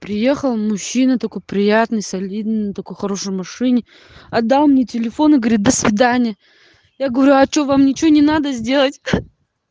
приехал мужчина такой приятный солидный на такой хорошей машине отдал мне телефон и говорит до свидания я говорю а что вам ничего не надо сделать